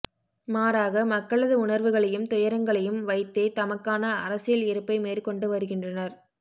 மாறாக மக்களது உணர்வுகளையும் துயரங்களையும் வைத்தே தமக்கான அரசியல் இருப்பை மேற்கொண்டு வருகின்றனர்